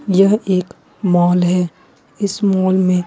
यह एक मॉल है इस मॉल में--